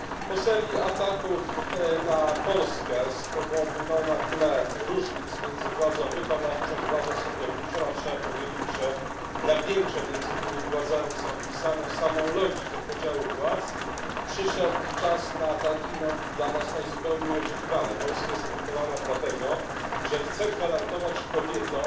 Po serii ataków na Polskę na tle różnic między władzą wykonawczą i władzą sądowniczą a trzeba powiedzieć, że napięcia między tymi władzami są wpisane w samą logikę podziału władz przyszedł czas najzupełniej dla nas nieoczekiwany Polska jest atakowana dlatego, że chce gwarantować kobietom